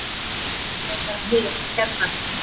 Nei, ekkert frekar en hérna.